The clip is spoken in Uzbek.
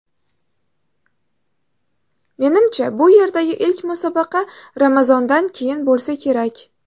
Menimcha, bu yerdagi ilk musobaqa ramazondan keyin bo‘lsa kerak.